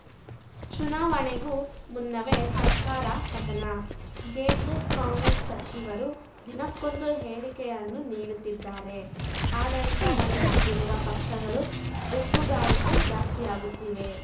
ಚುನಾವಣೆಗೂ ಮುನ್ನವೇ ಸರ್ಕಾರ ಪತನ ಜೆಡಿಎಸ್‌ಕಾಂಗ್ರೆಸ್‌ ಸಚಿವರು ದಿನಕ್ಕೊಂದು ಹೇಳಿಕೆಯನ್ನು ನೀಡುತ್ತಿದ್ದಾರೆ ಆಡಳಿತ ನಡೆಸುತ್ತಿರುವ ಪಕ್ಷಗಳಲ್ಲಿ ಗುಂಪುಗಾರಿಕೆ ಜಾಸ್ತಿಯಾಗುತ್ತಿದೆ